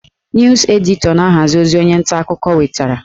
Nus editọ na-ahazi ozi onye nta akụkọ wetara